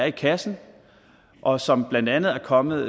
i kassen og som blandt andet er kommet